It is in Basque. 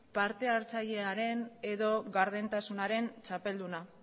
partehartzailearen edo gardentasunaren txapelduna